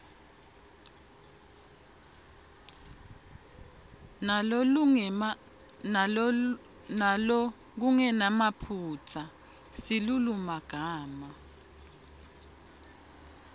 ngalokungenamaphutsa silulumagama